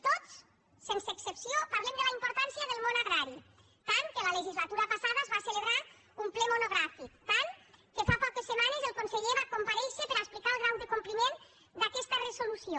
tots sense excepció parlem de la importància del món agrari tant que la legislatura passada es va celebrar un ple monogràfic tant que fa poques setmanes el conseller va comparèixer per explicar el grau de compliment d’aquesta resolució